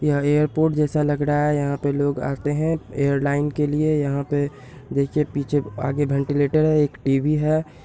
यहाँ एयरपोर्ट जैसा लग रहा है| यहाँ पे लोग आते हैं एयरलाइन के लिए| यहाँ पे देखिये पीछे-आगे वेंटिलेटर है एक टी_वी है।